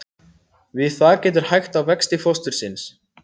Við það getur hægt á vexti fóstursins.